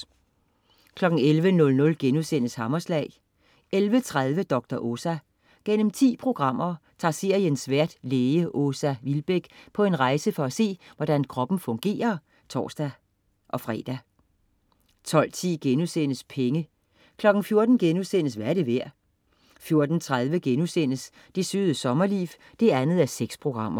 11.00 Hammerslag* 11.30 Dr. Åsa. Gennem 10 programmer tager seriens vært læge Åsa Vilbäck på en rejse for at se, hvordan kroppen fungerer, (tors-fre) 12.10 Penge* 14.00 Hvad er det værd?* 14.30 Det Søde Sommerliv 2:6*